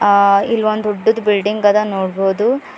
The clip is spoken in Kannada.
ಆ ಇಲ್ಲೊಂದ್ ದೊಡ್ಡದು ಬಿಲ್ಡಿಂಗ್ ಅದ ನೋಡ್ಬೋದು.